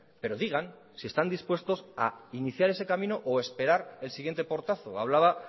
pero digan si están dispuestos a iniciar ese camino o esperar el siguiente portazo hablaba